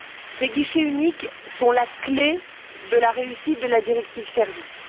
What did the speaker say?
Ces guichets uniques sont la clé de la réussite de la directive sur les services.